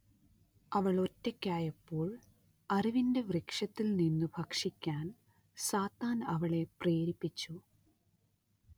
അവൾ ഒറ്റയ്ക്കായപ്പോൾ അറിവിന്റെ വൃക്ഷത്തിൽ നിന്നു ഭക്ഷിക്കാൻ സാത്താൻ അവളെ പ്രേരിപ്പിച്ചു